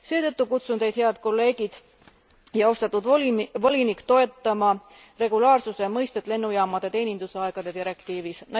Seetõttu kutsun teid, head kolleegid ja austatud volinik, toetama regulaarsuse mõistet lennujaamade teenindusaegade direktiivis.